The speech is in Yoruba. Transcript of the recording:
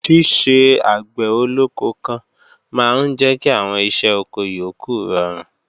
Ṣíṣe àgbẹ̀ olóko kan máa ń jẹ́ kí àwọn iṣẹ́ oko yókù rọrùn